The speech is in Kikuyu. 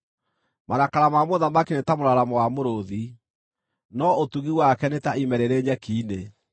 Marakara ma mũthamaki nĩ ta mũraramo wa mũrũũthi, no ũtugi wake nĩ ta ime rĩrĩ nyeki-inĩ.